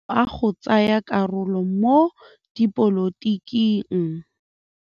O dirile maitekô a go tsaya karolo mo dipolotiking.